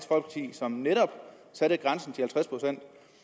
som netop satte grænsen til at